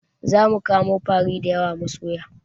Zamu kamo fari dayawa mu soya